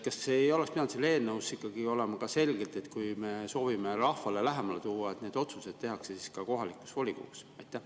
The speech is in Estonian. Kas ei oleks pidanud selles eelnõus olema ka selgelt kirjas, et kui me soovime otsustamise rahvale lähemale tuua, siis need otsused tehakse kohalikus volikogus?